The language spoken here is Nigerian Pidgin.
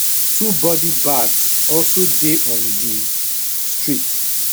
two body bags also dey on di street